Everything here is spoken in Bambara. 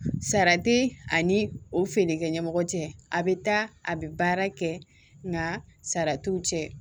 Sara tɛ ani o feerekɛ ɲɛmɔgɔ cɛ a bɛ taa a bɛ baara kɛ nga sara t'u cɛ